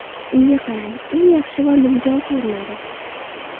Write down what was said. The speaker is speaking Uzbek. Unga qarang, u yaxshi va nimjon ko‘rinadi.